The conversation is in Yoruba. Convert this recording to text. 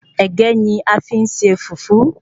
Ẹ̀gẹ́ ni a fi n se Fùfú